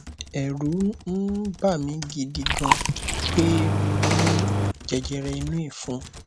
ẹrù ń um bà mi gidi gan pé mo ní jẹjẹrẹ inú ìfun